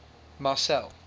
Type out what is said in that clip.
marcel